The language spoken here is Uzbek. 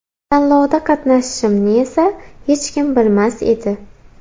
Tanlovda qatnashishimni esa hech kim bilmas edi.